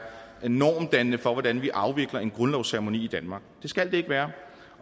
normdannende for hvordan vi afvikler en grundlovsceremoni i danmark det skal det ikke være